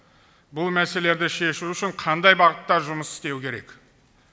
бұл мәселелерді шешу үшін қандай бағытта жұмыс істеу керек